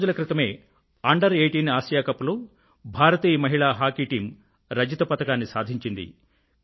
కొద్ది రోజుల క్రితమే అండర్18 ఆసియా కప్ లో భారతీయ మహిళా హాకీ టీమ్ రజత పతకాన్ని సాధించింది